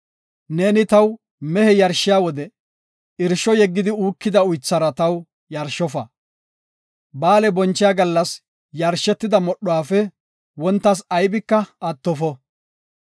“Neeni taw mehe yarshiya wode irsho yeggidi uukida uythara taw yarshofa. Ba7aale bonchiya gallas yarshetida modhuwafe wontas aybika attofo.